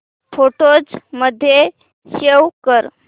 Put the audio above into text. photos मध्ये save कर